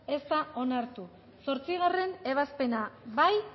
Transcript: ez da onartu zortzigarrena ebazpena bozkatu